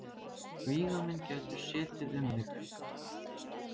Vígamenn gætu setið um þig.